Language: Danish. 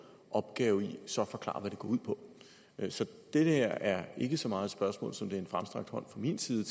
opgave i så at forklare hvad det går ud på så det her er ikke så meget et spørgsmål som det er en fremstrakt hånd fra min side